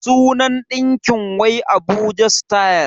Sunan ɗinkin wai Abuja style.